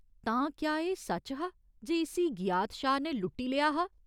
तां, क्या एह् सच्च हा जे इस्सी गियाथ शाह ने लुट्टी लेआ हा?